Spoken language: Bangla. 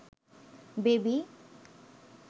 বেবি